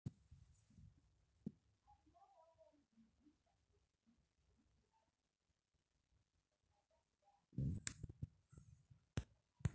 ore aun inkaitubulu too nkat napaasha o aitayu embata endaa temukuta ebulu nkulie peyie eitisidan ntona